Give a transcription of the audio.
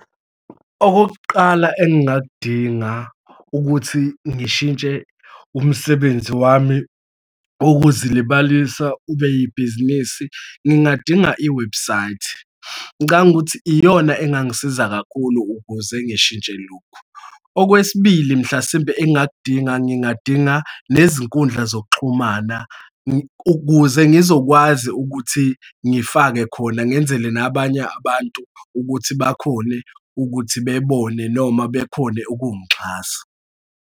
Okokuqala engingakudinga ukuthi ngishintshe umsebenzi wami wokuzilibalisa ube ibhizinisi, ngingadinga iwebhusayithi, ngicabanga ukuthi iyona engangisiza kakhulu ukuze ngishintshe lokhu. Okwesibili, mhlasimpe engingakudinga, ngingadinga nezinkundla zokuxhumana kuze ngizokwazi ukuthi ngifake khona, ngenzele nabanye abantu ukuthi bakhone ukuthi bebone noma bekhone ukuxhasa.